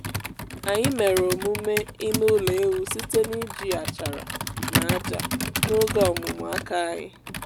anyị mere omume ime ụlọ ewu site n’iji achara na ájá n’oge ọmụmụ aka anyị